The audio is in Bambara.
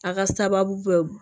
A ka sababu bɛ